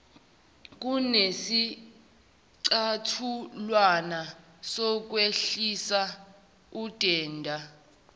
kunesicathulwana sokwehlisa udenda